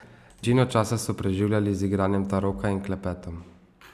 Večino časa so preživljali z igranjem taroka in klepetom.